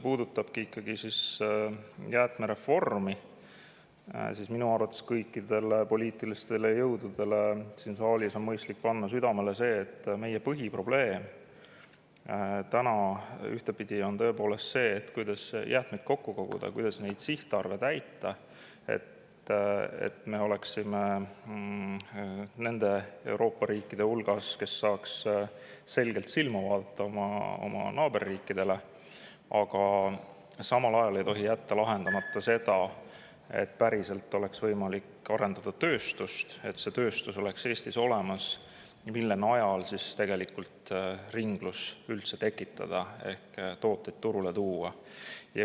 Minu arvates on mõistlik kõikidele poliitilistele jõududele siin saalis panna südamele seda, et kuigi meie põhiprobleem on tõepoolest see, kuidas jäätmed kokku koguda ja sihtarve täita, et me oleksime nende Euroopa riikide hulgas, kes oma naaberriikidele selgelt silma vaadata, siis samal ajal ei tohi lahenduseta jääda see, et siin päriselt oleks võimalik tööstust arendada, et Eestis oleks olemas tööstus, mille najal ringlust üldse tekitada ehk tooteid turule tuua.